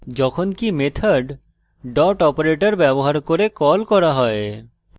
যখনকি method dot operator ব্যবহার করে কল করা হয়